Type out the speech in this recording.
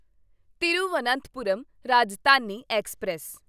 Thiruvananthapuram Rajdhani express